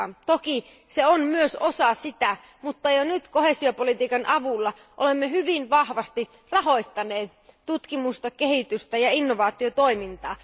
Toki se on myös osa sitä, mutta jo nyt koheesiopolitiikan avulla olemme hyvin vahvasti rahoittaneet tutkimusta, kehitystä ja innovaatiotoimintaa.